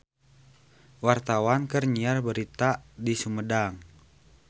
Wartawan keur nyiar berita di Sumedang